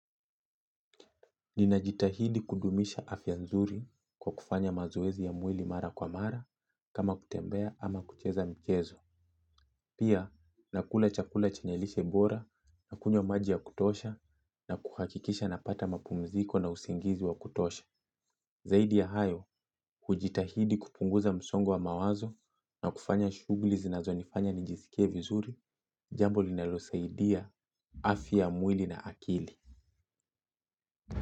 Ninajitahidi kudumisha afya nzuri kwa kufanya mazoezi ya mwili mara kwa mara kama kutembea ama kucheza michezo. Pia nakula chakula chenye lishe bora na kunywa maji ya kutosha na kuhakikisha napata mapumziko na usingizi wa kutosha. Zaidi ya hayo hujitahidi kupunguza msongo wa mawazo na kufanya shughuli zinazonifanya nijisikie vizuri, jambo linalosaidia afya ya mwili na akili.